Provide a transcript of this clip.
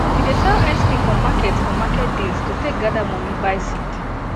she dey sell ice cream for market for market days to take gather money buy seed